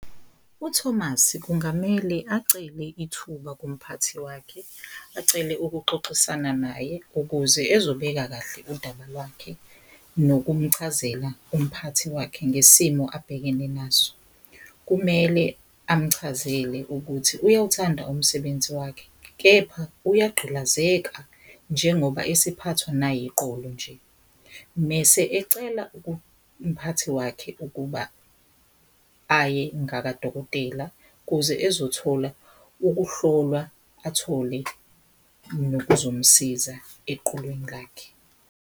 UThomas kungamele acele ithuba kumphathi wakhe acele ukuxoxisana naye ukuze ezobeka kahle udaba lwakhe nokumchazela umphathi wakhe ngesimo abhekene naso. Kumele amchazele ukuthi uyawuthanda umsebenzi wakhe kepha uyagqilazeka njengoba esephathwa nayiqolo nje, mese ecela umphathi wakhe ukuba aye ngakadokotela kuze ezothola ukuhlolwa, athole nokuzomsiza eqolweni lakhe.